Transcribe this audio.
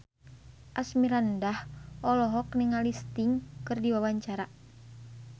Asmirandah olohok ningali Sting keur diwawancara